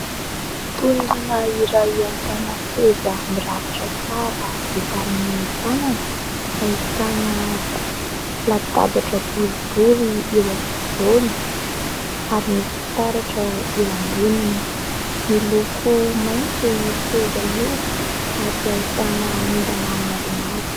Toerana iray ahitana seza mirafitra tsara vita amin'ny tanana, ahitana latabatra boribory eo ampovoany ary misy fitaratra eo amboniny. Miloko maitso io seza io ary ahitana ondana maromaro.